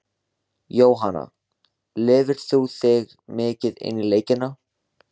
Jóhanna: Lifir þú þig mikið inn í leikina?